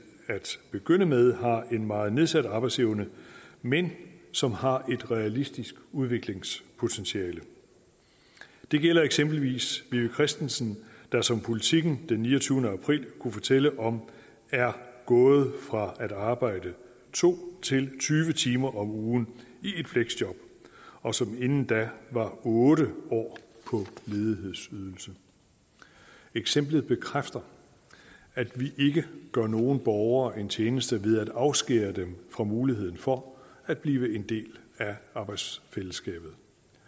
at begynde med har en meget nedsat arbejdsevne men som har et realistisk udviklingspotentiale det gælder eksempelvis vivi christensen der som politiken den niogtyvende april kunne fortælle om er gået fra at arbejde to til at tyve timer om ugen i et fleksjob og som inden da var otte år på ledighedsydelse eksemplet bekræfter at vi ikke gør nogen borgere en tjeneste ved at afskære dem fra muligheden for at blive en del af arbejdsfællesskabet